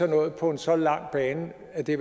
noget på en så lang bane at det